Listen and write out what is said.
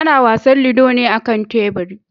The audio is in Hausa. Ana wasan ludo ne a kan teburi.